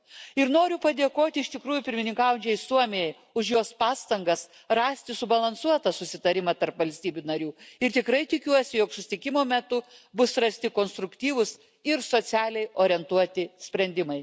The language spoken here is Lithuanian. Ir noriu padėkoti iš tikrųjų pirmininkaujančiai Suomijai už jos pastangas rasti subalansuotą susitarimą tarp valstybių narių ir tikrai tikiuosi, jog susitikimo metu bus rasti konstruktyvus ir socialiai orientuoti sprendimai.